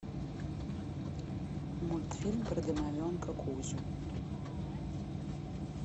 мультфильм про домовенка кузю